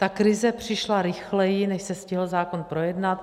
Ta krize přišla rychleji, než se stihl zákon projednat.